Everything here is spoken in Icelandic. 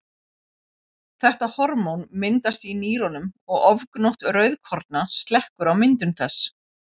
Þetta hormón myndast í nýrunum og ofgnótt rauðkorna slekkur á myndun þess.